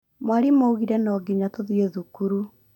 Mwalimu augire no nginya tũthiĩ thukuru